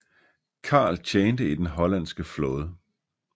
Carl tjente i den hollandske flåde